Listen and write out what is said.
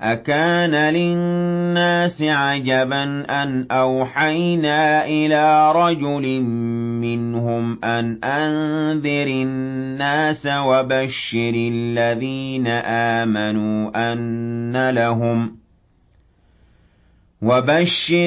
أَكَانَ لِلنَّاسِ عَجَبًا أَنْ أَوْحَيْنَا إِلَىٰ رَجُلٍ مِّنْهُمْ أَنْ أَنذِرِ النَّاسَ وَبَشِّرِ